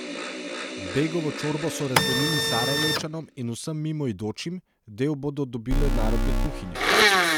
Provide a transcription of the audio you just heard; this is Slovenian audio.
Begovo čorbo so razdelili Sarajevčanom in vsem mimoidočim, del bodo dobile narodne kuhinje.